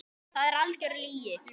Það er algjör lygi.